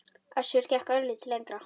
Össur gekk örlítið lengra.